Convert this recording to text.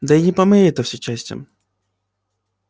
да и не по моей всё это части